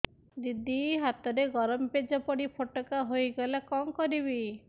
ଦିଦି ହାତରେ ଗରମ ପେଜ ପଡି ଫୋଟକା ହୋଇଗଲା କଣ କରିବି